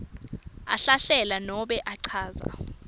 ahlahlela nanobe achaza